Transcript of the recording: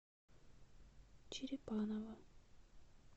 черепаново